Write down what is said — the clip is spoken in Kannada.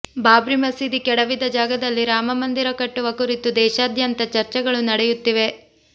ಬಾಬ್ರಿ ಮಸೀದಿ ಕೆಡವಿದ ಜಾಗದಲ್ಲಿ ರಾಮಮಂದಿರ ಕಟ್ಟುವ ಕುರಿತು ದೇಶದಾದ್ಯಂತ ಚರ್ಚೆಗಳು ನಡೆಯುತ್ತಿವೆ